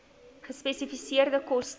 gespesifiseerde koste